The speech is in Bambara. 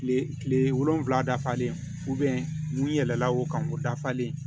Kile kile wolonwula dafalen n'i yɛlɛnna o kan o dafalen